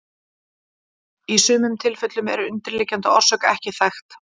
Í sumum tilfellum er undirliggjandi orsök ekki þekkt.